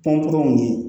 Pɔnpu ni